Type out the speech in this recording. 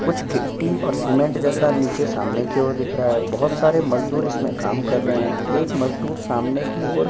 कुछ गिट्टी और सीमेंट के जैसा सामने की और दिख रहा है बहुत सारे मजादुर इसमें काम कर रहे है एक मजदूर सामने की और --